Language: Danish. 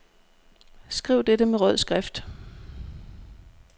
Skriv dette med rød skrift.